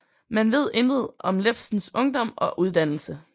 Man ved intet om Iebsens ungdom og uddannelse